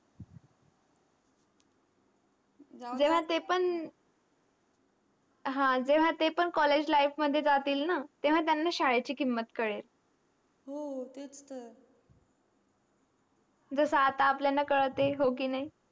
जेव्हा तेपण जेव्हा तेपण college life मध्ये जतीन तेव्हा त्यना शाडेची किमत कळेल हो तेच तर जस आता अप्ण्याला कळते.